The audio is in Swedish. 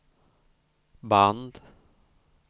band